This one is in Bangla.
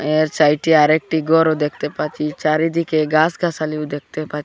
এর সাইডে আরেকটি গরও দেখতে পাচ্ছি চারিদিকে গাসগাসালিও দেখতে পা--